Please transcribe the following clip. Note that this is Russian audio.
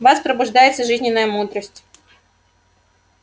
в вас пробуждается жизненная мудрость